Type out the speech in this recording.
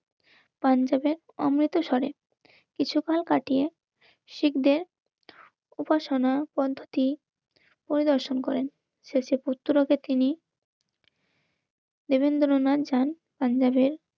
পাঞ্জাবে আমরাই তো স্বরে কিছুকাল কাটিয়ে শিখতে উপাসনা পদ্ধতি পরিদর্শন করেন শেষে পুত্রলোকে তিনি দেবেন্দ্রনাথ যান